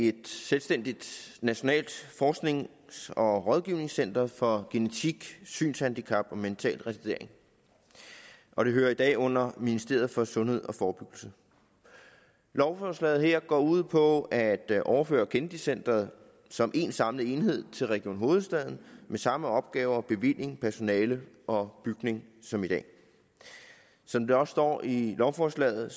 et selvstændigt nationalt forsknings og rådgivningscenter for genetik synshandicap og mental retardering og det hører i dag under ministeriet for sundhed og forebyggelse lovforslaget her går ud på at overføre kennedy centret som en samlet enhed til region hovedstaden med samme opgaver bevilling personale og bygning som i dag som der også står i lovforslaget